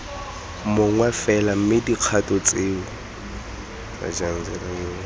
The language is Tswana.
mongwe fela mme dikgato tseo